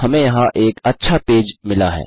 हमें यहाँ एक अच्छा पेज मिला है